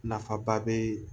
Nafaba bɛ